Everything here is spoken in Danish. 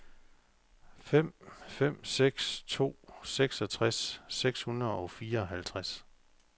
fem fem seks to seksogtres seks hundrede og fireoghalvtreds